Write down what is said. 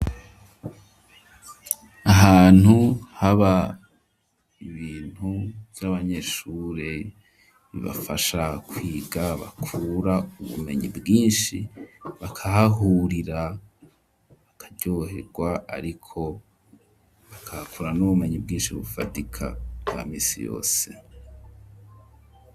Ahantu haba ibintu vy'abanyeshure bibafasha kwiga, bakura ubumenyi bwinshi, bakahahurira bakaryoherwa, ariko bakahakura n'ubumenyi bwinshi bufadika bwa minsi yose.